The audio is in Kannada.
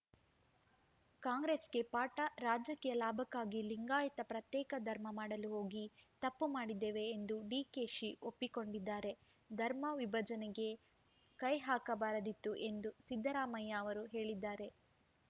ಕಾಂಗ್ರೆಸ್‌ಗೆ ಪಾಠ ರಾಜಕೀಯ ಲಾಭಕ್ಕಾಗಿ ಲಿಂಗಾಯತ ಪ್ರತ್ಯೇಕ ಧರ್ಮ ಮಾಡಲು ಹೋಗಿ ತಪ್ಪು ಮಾಡಿದ್ದೇವೆ ಎಂದು ಡಿಕೆಶಿ ಒಪ್ಪಿಕೊಂಡಿದ್ದಾರೆ ಧರ್ಮ ವಿಭಜನೆಗೆ ಕೈಹಾಕಬಾರದಿತ್ತು ಎಂದು ಸಿದ್ದರಾಮಯ್ಯ ಅವರೂ ಹೇಳಿದ್ದಾರೆ